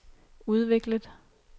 udviklet